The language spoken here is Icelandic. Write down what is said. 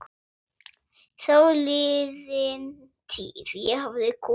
Þáliðin tíð- ég hafði komið